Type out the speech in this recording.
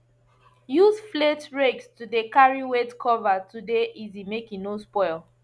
use flate rakes to de carry wet cover to de easy make e no spoil